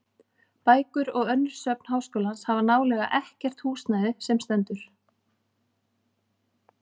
Bækur og önnur söfn háskólans hafa nálega ekkert húsnæði sem stendur.